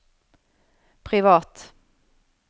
privat